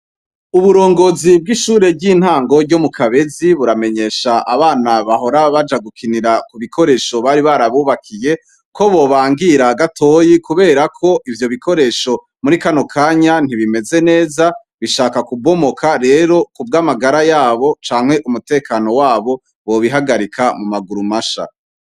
Uburongozi bw'ishure ry'intango ryo mu Kabezi buramenyesha abana bahora baja gukinira ku bikoresho bari barabubakiye ko bobangira gatoyi kubera ko ivyo bikoresho muri kano kanya ntibimeze neza, bishaka kubomoka. Rero, ku bw’amagara yabo canke umutekano wabo, bobihagarika mu maguru masha.